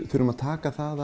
þurfum að taka það